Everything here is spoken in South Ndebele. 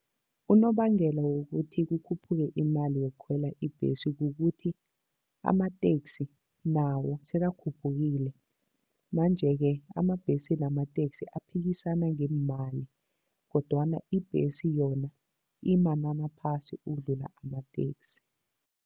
Unobangela wokuthi kukhuphukw imali yokukhwela ibhesi kukuthi amateksi nawo sekakhuphukile, manje-ke amabhesi namateksi aphikisana ngeemali kodwana ibhesi yona imanani aphasi ukudlula amateksi.